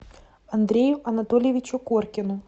андрею анатольевичу коркину